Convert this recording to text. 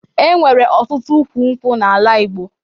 E nwere ọtụtụ ukwu nkwụ n'ala Igbo